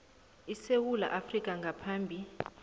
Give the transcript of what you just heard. esewula afrika ngaphambi